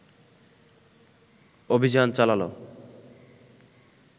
অভিযান চালালো